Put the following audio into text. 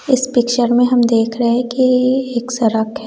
इस पिक्चर में हम देख रहे हैं कि एक सरक हैं।